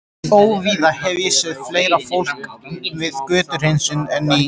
Óvíða hef ég séð fleira fólk við götuhreinsun en í